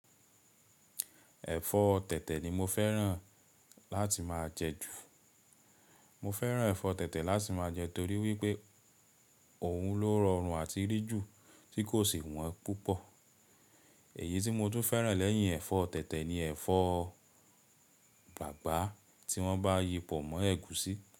Ẹ̀fọ́ tẹ̀tẹ̀ ni mo fẹ́ràn láti máa jẹ ju. Mo fẹ́ràn ẹ̀fọ́ tẹ̀tẹ̀ láti máa jẹ torí wípé òun ló rọrùn àti rí ju tí kò sì wọ́n púpọ̀. Èyí tí mo tún fẹ́ràn lẹ́yìn ẹ̀fọ́ tẹ̀tẹ̀ ni ẹ̀fọ́ bàbàá tí wọ́n bá yi pọ̀ mọ́ ẹ̀gúsí.